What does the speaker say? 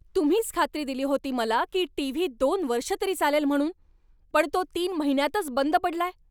तुम्हीच खात्री दिली होती मला की टीव्ही दोन वर्षं तरी चालेल म्हणून, पण तो तीन महिन्यांतच बंद पडलाय!